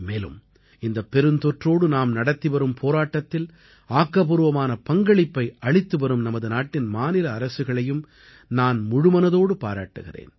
மேலும் இந்தப் பெருந்தொற்றோடு நாம் நடத்திவரும் போராட்டத்தில் ஆக்கப்பூர்வமான பங்களிப்பை அளித்து வரும் நமது நாட்டின் மாநில அரசுகளையும் நான் முழுமனதோடு பாராட்டுகிறேன்